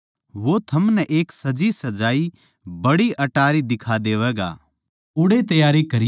वो थमनै एक सजीसजाई बड़ी अटारी दिखा देवैगा ओड़ैए त्यारी करयो